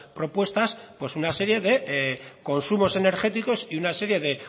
propuestas pues una serie de consumos energéticos y una serie de